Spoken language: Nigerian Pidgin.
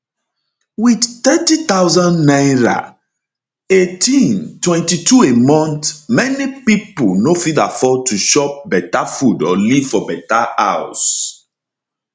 wit 30000 naira 18 22 a month many pipo no fit afford to chop better food or live for better house